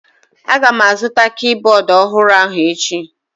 Agam azụta kibọọdụ ọhụrụ ahụ echi.